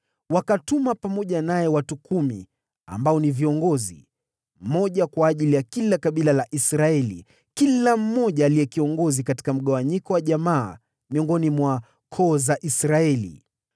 Wakatuma pamoja naye watu kumi ambao ni viongozi, mmoja kwa kila kabila la Israeli, kila mmoja aliyekuwa kiongozi katika mgawanyiko wa jamaa miongoni mwa koo za Israeli.